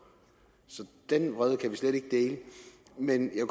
så den vrede kan vi slet ikke dele men jeg